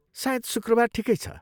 सायद शुक्रवार ठिकै छ।